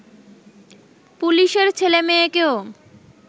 পুলিশের ছেলেমেয়েকেও